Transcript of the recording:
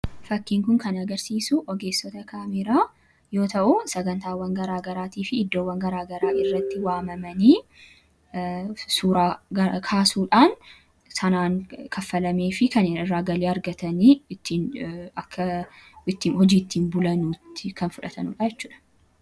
Fakkiin kun kan agarsiisu ogeessota kaameraa yoo ta'an, sagantaawwan garaa garaatii fi iddoowwan garaa garaatti waamamanii suura kaasuudhaan galii argatu. Galii sana irraa argataniinis jireenya isaanii geggeeffatu.